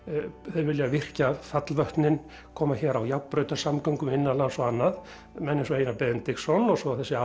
þeir vilja virkja fallvötnin koma hér á innanlands og annað menn eins og Einar Benediktsson og svo þessi